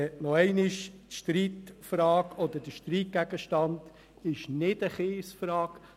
Noch einmal: Die Streitfrage oder der Streitgegenstand ist nicht die Kiesfrage.